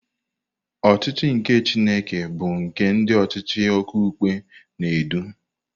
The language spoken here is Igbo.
Ọchịchị nke Chineke bu nke ndị ọchịchị okpukpe na-edu.